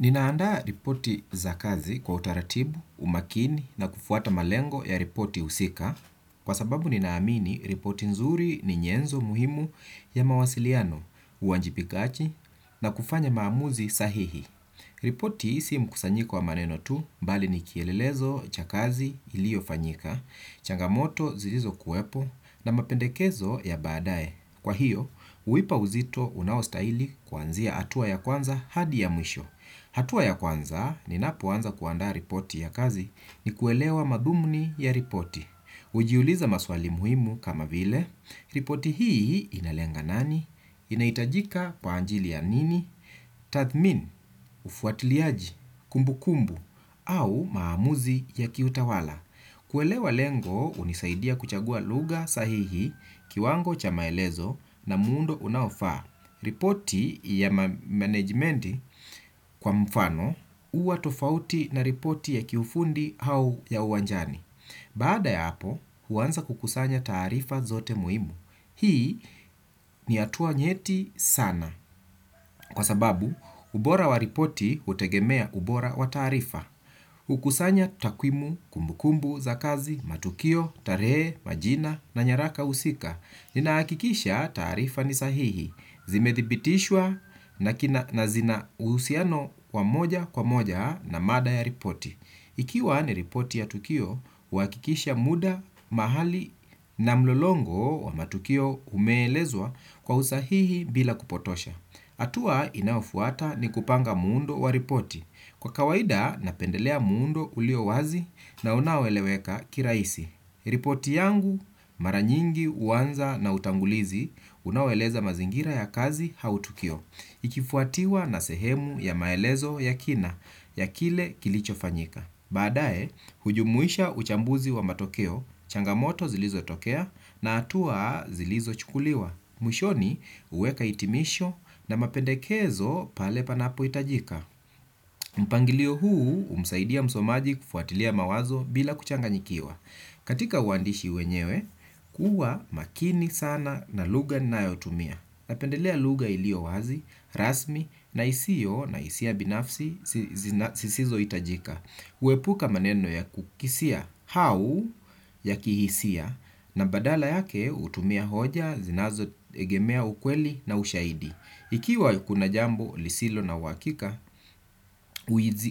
Ninaandaa ripoti za kazi kwa utaratibu, umakini na kufuata malengo ya ripoti husika kwa sababu ninaamini ripoti nzuri ni nyenzo muhimu ya mawasiliano uwajibikaji na kufanya maamuzi sahihi. Ripoti si mkusanyiko wa maneno tu bali ni kielelezo cha kazi iliyofanyika, changamoto zilizokuwepo na mapendekezo ya baadae. Kwa hiyo, huipa uzito unaostahili kuanzia hatua ya kwanza hadi ya mwisho. Hatua ya kwanza ninapoanza kuandaa ripoti ya kazi ni kuelewa madhumuni ya ripoti. Hujiuliza maswali muhimu kama vile, ripoti hii inalenga nani, inahitajika kwa ajili ya nini, tathmini, ufuatiliaji, kumbukumbu, au maamuzi ya kiutawala. Kuelewa lengo hunisaidia kuchagua lugha sahihi kiwango cha maelezo na muundo unaofaa. Ripoti ya manejimenti kwa mfano huwa tofauti na ripoti ya kiufundi au ya uwanjani. Baada ya hapo, huaanza kukusanya taarifa zote muhimu. Hii ni hatua nyeti sana kwa sababu ubora wa ripoti hutegemea ubora wa taarifa. Kukusanya takwimu kumbukumbu za kazi, matukio, tarehe, majina na nyaraka husika. Ninahakikisha taarifa ni sahihi. Zimethibitishwa na zina uhusiano wa moja kwa moja na mada ya ripoti. Ikiwa ni ripoti ya tukio, uhakikisha muda mahali na mlolongo wa matukio umeelezwa kwa usahihi bila kupotosha hatua inayofuata ni kupanga muundo wa ripoti. Kwa kawaida, napendelea muundo ulio wazi na unaoeleweka kirahisi. Ripoti yangu, mara nyingi huanza na utangulizi, unaoeleza mazingira ya kazi au tukio. Ikifuatiwa na sehemu ya maelezo ya kina ya kile kilichofanyika. Baadae, hujumuisha uchambuzi wa matokeo, changamoto zilizotokea na hatua zilizochukuliwa. Mwishoni, huweka hitimisho na mapendekezo pale panapohitajika. Mpangilio huu humsaidia msomaji kufuatilia mawazo bila kuchanganyikiwa. Katika uandishi wenyewe kuwa makini sana na lugha nayotumia. Napendelea lugha iliyo wazi, rasmi na isio na hisia binafsi zisizohitajika huepuka maneno ya kukisia au ya kihisia na badala yake hutumia hoja zinazoegemea ukweli na ushaidi. Ikiwa kuna jambo lisilo na uhakika,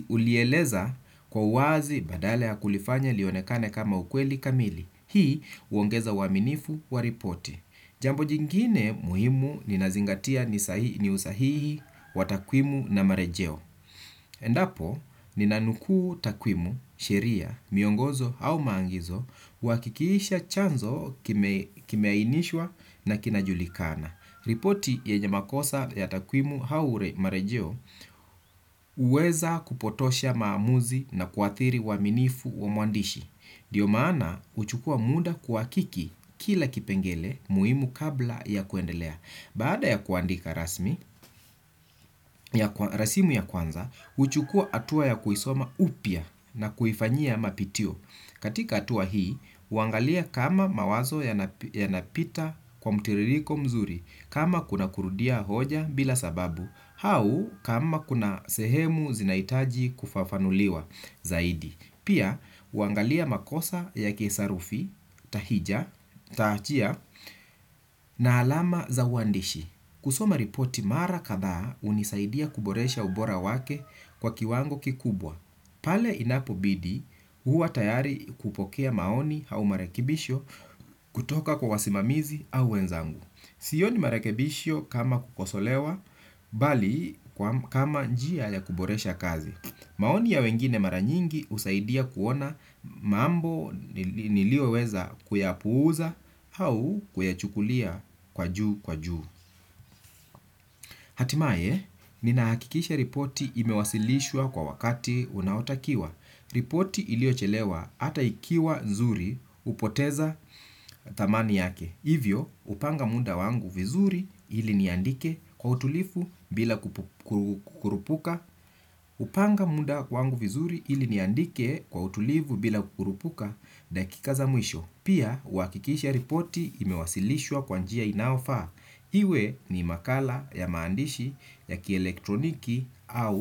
ulieleza kwa wazi badala ya kulifanya lionekane kama ukweli kamili. Hii huongeza uaminifu wa ripoti. Jambo jingine muhimu ninazingatia ni usahihi wa takwimu na marejeo. Endapo ninanukuu takwimu, sheria, miongozo au maagizo uhakikisha chanzo kimeainishwa na kinajulikana. Ripoti yenye makosa ya takwimu au marejeo huweza kupotosha maamuzi na kuathiri uaminifu wa mwandishi. Ndio maana huchukua muda kuhakiki kila kipengele muhimu kabla ya kuendelea. Baada ya kuandika rasmi, ya rasimu ya kwanza, huchukua hatua ya kuisoma upya na kuifanyia mapitio. Katika hatua hii, huangalia kama mawazo yanapita kwa mtiririko mzuri, kama kuna kurudia hoja bila sababu, au kama kuna sehemu zinahitaji kufafanuliwa zaidi. Pia, huangalia makosa ya kisarufi, tahija, tahachia na alama za uandishi. Kusoma ripoti mara kadhaa hunisaidia kuboresha ubora wake kwa kiwango kikubwa. Pale inapobidi, huwa tayari kupokea maoni au marekebisho kutoka kwa wasimamizi au wenzangu. Sioni marekibisho kama kukosolewa, bali kama njia ya kuboresha kazi. Maoni ya wengine mara nyingi husaidia kuona mambo nilioweza kuyapuuza au kuyachukulia kwa juu kwa juu. Hatimaye, ninahakikisha ripoti imewasilishwa kwa wakati unaotakiwa. Ripoti iliyochelewa hata ikiwa nzuri hupoteza thamani yake. Hivyo, hupanga muda wangu vizuri ili niandike kwa utulivu bila kurupuka. Hupanga muda wangu vizuri ili niandike kwa utulivu bila kurupuka. Dakika za mwisho. Pia, uhakikisha ripoti imewasilishwa kwa njia inayofaa. Iwe ni makala ya maandishi ya kielektroniki au.